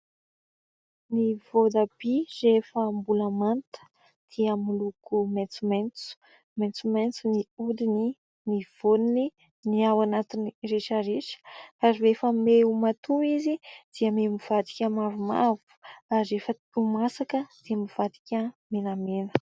Ny votabia rehefa mbola manta dia moloko maintomaintso ; maintomaintso ny odiny, ny voniny, ny ao anatiny rehetrarehetra ary rehefa miha ho matoy izy dia miha mivadika mavomavo ary efa ho masaka dia mivadika menamena.